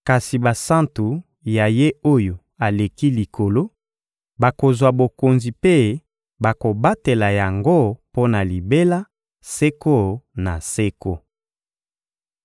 kasi basantu ya Ye-Oyo-Aleki-Likolo bakozwa bokonzi mpe bakobatela yango mpo na libela, seko na seko.